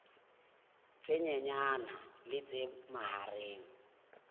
tse nyenyane le tse mahareng